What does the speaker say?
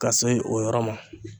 Ka se o yɔrɔ ma.